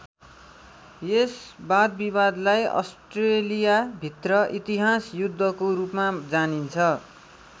यस वादविवादलाई अस्ट्रेलिया भित्र इतिहास युद्धको रूपमा जानिन्छ।